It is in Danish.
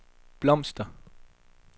blomster